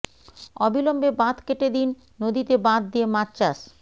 অবিলম্বে বাঁধ কেটে দিন নদীতে বাঁধ দিয়ে মাছ চাষ